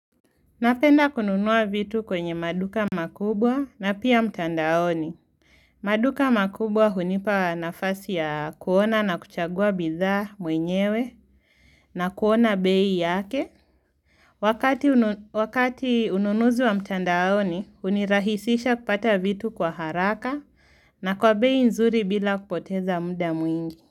Napenda kununua vitu kwenye maduka makubwa na pia mtandaoni. Maduka makubwa hunipa nafasi ya kuona na kuchagua bidhaa mwenyewe na kuona bei yake. Wakati ununuzi wa mtandaoni, unirahisisha kupata vitu kwa haraka na kwa bei nzuri bila kupoteza muda mwingi.